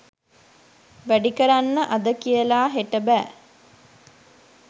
වැඩි කරන්න අද කියලා හෙට බෑ.